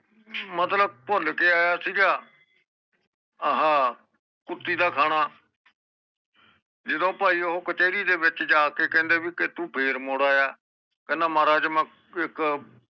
ਮਤਲਬ ਪੋਲਕੇ ਆਯਾ ਸੀਗਾ ਆਹਾ ਕੁੱਤੀ ਦਾ ਖਾਣਾ ਜਦੋ ਭਾਈ ਓਹੋ ਕਚੈਰੀ ਦੇ ਵਿਚ ਜਾਕੇ ਕਹਿੰਦੇ ਕਿ ਭਾਈ ਤੂੰ ਫੇਰ ਮੁੜ ਆਯਾ ਕਹਿੰਦਾ ਮਹਾਰਾਜ ਮੈਂ ਇਕ